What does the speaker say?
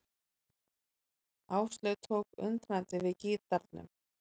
Áslaug tók undrandi við gítarnum.